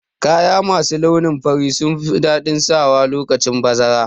Kaya masu launin fari sunfi daɗin sawa lokacin bazara